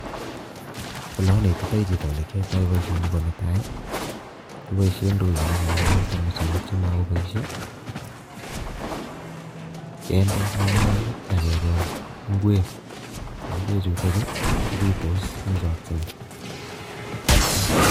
Olanetitoi chito ole kiyaitoi boisioni ko netai, kipoishe ndoinik anan ko tamusinik chemakopaishe kende ngungunyek ak kekol ingwek, ingwek chutokchu kopitos eng chokchinet.